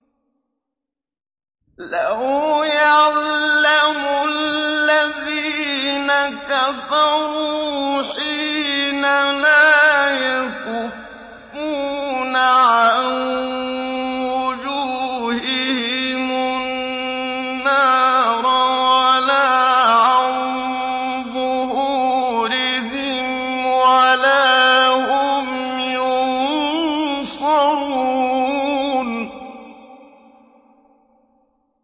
لَوْ يَعْلَمُ الَّذِينَ كَفَرُوا حِينَ لَا يَكُفُّونَ عَن وُجُوهِهِمُ النَّارَ وَلَا عَن ظُهُورِهِمْ وَلَا هُمْ يُنصَرُونَ